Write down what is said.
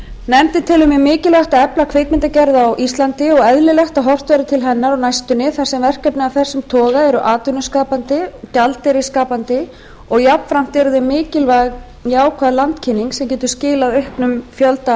nefndin telur mjög mikilvægt að efla kvikmyndagerð á íslandi og eðlilegt að horft verði til hennar á næstunni þar sem verkefni af þessum toga eru atvinnuskapandi gjaldeyrisskapandi og jafnframt eru þau mikilvæg jákvæð landkynning sem getur skilað auknum fjölda